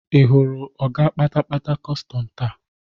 Ị hụrụ ọga kpatapata kọstọm taa?